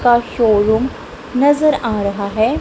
का शोरूम नजर आ रहा है।